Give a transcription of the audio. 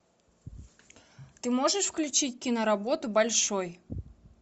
ты можешь включить киноработу большой